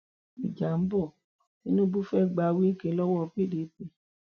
ìjà ń bọ tinubu fẹẹ gba wike lọwọ pdp